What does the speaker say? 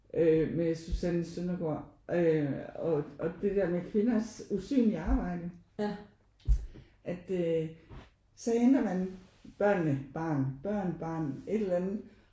Øh med Susanne Søndergaard øh og det der med kvinders usynlige arbejde at øh så henter man børnene barn børn barn et eller andet